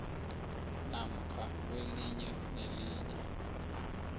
namkha kwelinye nelinye